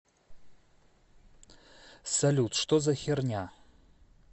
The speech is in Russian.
салют что за херня